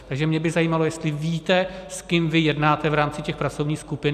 Takže mě by zajímalo, jestli víte, s kým vy jednáte v rámci těch pracovních skupin.